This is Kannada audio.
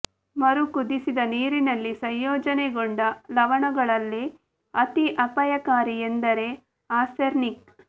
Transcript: ಮರು ಕುದಿಸಿದ ನೀರಿನಲ್ಲಿ ಸಂಯೋಜನೆಗೊಂಡ ಲವಣಗಳಲ್ಲಿ ಅತಿ ಅಪಾಯಕಾರಿ ಎಂದರೆ ಆರ್ಸೆನಿಕ್